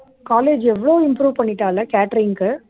college எவ்ளோ improve பண்ணிட்டால்ல catering க்கு